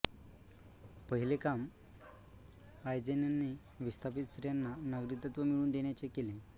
पहिले काम आयजेनने विस्थापित स्त्रियांना नागरिकत्व मिळवून देण्याचे केले